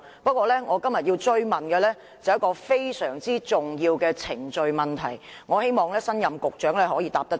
不過，我今天要追問的是一個非常重要的程序問題，希望新任局長可以回答。